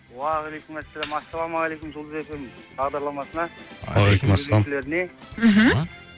уағалейкумассалам ассалаумалейкум жұлдыз эф эм бағдарламасына жүргізушілеріне мхм